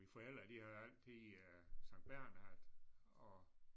Mine forældre de havde altid øh Sankt Bernhard og